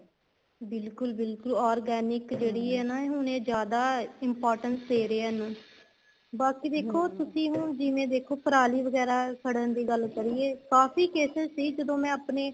ਬਿਲਕੁਲ ਬਿਲਕੁਲ organic ਜਿਹੜੀ ਏ ਨਾ ਹੁਣ ਏ ਜਿਆਦਾ importance ਦੇ ਰਿਹਾ ਇਹਨੂੰ ਬਾਕੀ ਦੇਖੋ ਤੁਸੀਂ ਹੁਣ ਜਿਵੇਂ ਦੇਖੋ ਪਰਾਲੀ ਵਗੈਰਾ ਸੜਨ ਦੀ ਗੱਲ ਕਰੀਏ ਕਾਫ਼ੀ cases ਸੀ ਜਦੋਂ ਮੈਂ ਆਪਣੇ